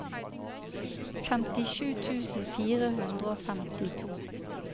femtisju tusen fire hundre og femtito